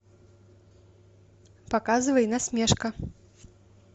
показывай насмешка